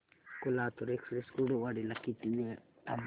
Latur express Kurduwadi ला किती वेळ थांबते